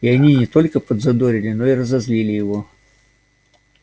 и они не только подзадорили но и разозлили его